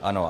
Ano.